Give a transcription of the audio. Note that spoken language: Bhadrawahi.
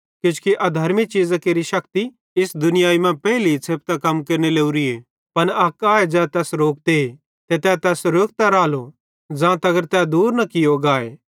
किजोकि अधर्मी चीज़ां केरि शक्ति इस दुनियाई मां पेइली छ़ेपतां कम केरने लोरीए पन अक आए ज़ै तैस रोकते ते तै तैस रोकतो रालो ज़ां तगर तै दूर न कियो गाए